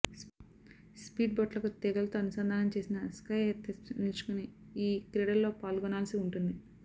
speed బోట్లకు తీగలతో అనుసంధానం చేసిన స్కైఎర్స్పై నిల్చుని ఈ క్రీడలో పాల్గొనాల్సి ఉంటుంది